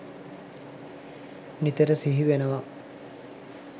නිතර සිහි වෙනවා.